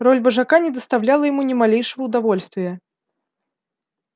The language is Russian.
роль вожака не доставляла ему ни малейшего удовольствия